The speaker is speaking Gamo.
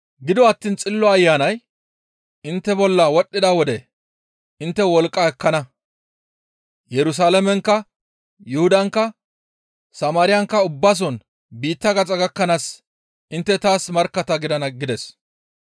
Gido attiin Xillo Ayanay intte bolla wodhdhida wode intte wolqqa ekkana. Yerusalaamenkka, Yuhudankka, Samaariyankka ubbason biitta gaxa gakkanaas intte taas markkatta gidana» gides.